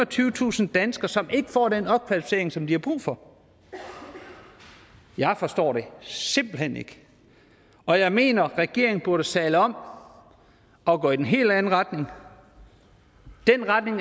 og tyvetusind danskere som ikke får den opkvalificering som de har brug for jeg forstår det simpelt hen ikke og jeg mener at regeringen burde sadle om og gå i den helt anden retning den retning